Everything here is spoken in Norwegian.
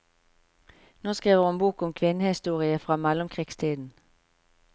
Nå skriver hun bok om kvinnehistorie fra mellomkrigstiden.